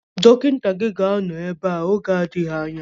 Dọkịta gị ga-anọ ebea oge na-adịghị anya